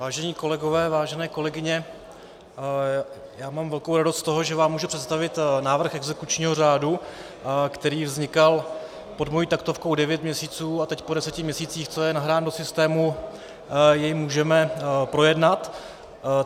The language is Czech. Vážení kolegové, vážené kolegyně, já mám velkou radost z toho, že vám můžu představit návrh exekučního řádu, který vznikal pod mojí taktovkou devět měsíců, a teď po deseti měsících, co je nahrán do systému, jej můžeme projednat.